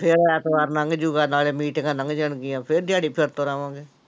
ਫਿਰ ਐਤਵਾਰ ਲੰਘ ਜਾਊਗਾ ਨਾਲੇ ਮੀਟਿੰਗਾਂ ਲੰਘ ਜਾਣਗੀਆਂ, ਫਿਰ ਦਹਾੜੀ ਫਿਰ ਤੁਰ ਆਵਾਂਗੇ।